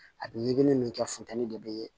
A bɛ ɲigi min kɛ funteni de bɛ